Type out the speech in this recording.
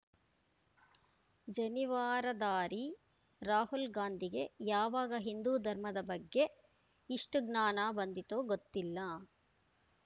ಜನಿವಾರಧಾರಿ ರಾಹುಲ್‌ ಗಾಂಧಿಗೆ ಯಾವಾಗ ಹಿಂದೂ ಧರ್ಮದ ಬಗ್ಗೆ ಇಷ್ಟುಜ್ಞಾನ ಬಂದಿತೋ ಗೊತ್ತಿಲ್ಲ